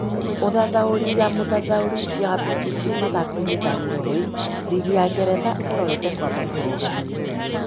ũthathaũri ya mũthathaũri wa Mbimbisi Mathakoinĩ Dani Roy, rigi ya Ngeretha ĩrorete kwamba kũrũgamio.